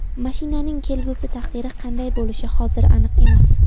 Mashinaning kelgusi taqdiri qanday bo‘lishi hozir aniq emas.